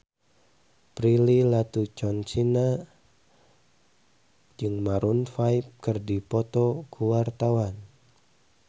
Prilly Latuconsina jeung Maroon 5 keur dipoto ku wartawan